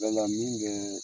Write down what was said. min kɛ